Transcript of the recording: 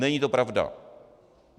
Není to pravda.